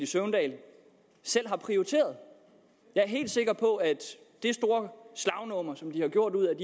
søvndal selv har prioriteret jeg er helt sikker på at det store slagnummer som de har gjort ud